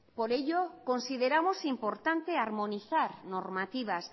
por ello consideramos importante armonizar normativas